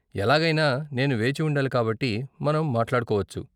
ఎలాగైనా నేను వేచి ఉండాలి కాబట్టి, మనం మాట్లాడుకోవచ్చు.